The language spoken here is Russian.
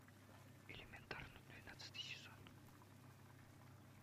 элементарно двенадцатый сезон